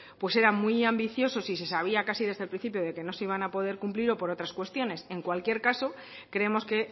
pues eran muy ambiciosos y se sabía casi desde el principio que no se iban a poder cumplir o por otras cuestiones en cualquier caso creemos que